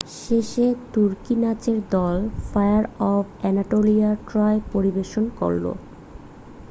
"শেষে তুর্কি নাচের দল ফায়ার অফ অ্যানাটোলিয়া "ট্রয়" পরিবেশন করল।